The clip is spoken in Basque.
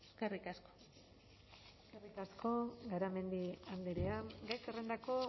eskerrik asko eskerrik asko garamendi andrea gai zerrendako